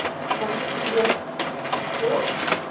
গনেশ পুজো হয় ও